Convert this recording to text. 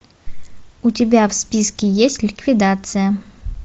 у тебя в списке есть ликвидация